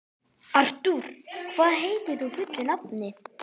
Artúr, hvað heitir þú fullu nafni?